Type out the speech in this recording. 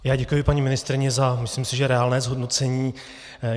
Já děkuji paní ministryni za, myslím si, že reálné hodnocení.